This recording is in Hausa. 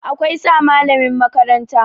Akwai sa malamin makaranta